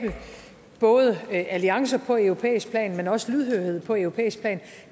både alliancer på europæisk plan men også lydhørhed på europæisk plan